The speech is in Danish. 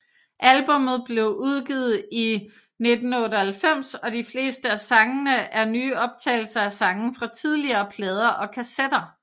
Albummet blev udgivet i 1998 og de fleste af sangene er nye optagelser af sange fra tidligere plader og kassetter